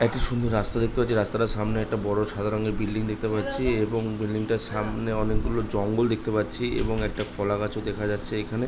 একটি সুন্দর রাস্তা দেখতে পাচ্ছি রাস্তাটার সামনে একটা বড়ো সাদা রঙের বিল্ডিং দেখতে পাচ্ছি এবং বিল্ডিং টার সামনে অনেকগুলো জঙ্গল দেখতে পাচ্ছি এবং একটা কলা গাছও দেখা যাচ্ছে এখানে --